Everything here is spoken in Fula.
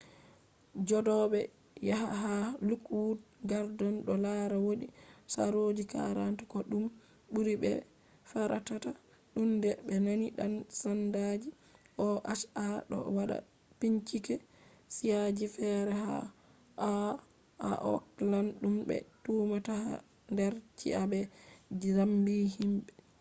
jodobe haya ha lookwood gardens do lara wodi saroji 40 ko dum buri be'be fartata tunde be nani dan-sandaji oha do wada bincike ci'a ji fere ha oakland dum be tumata hader ci'a be zambi himbe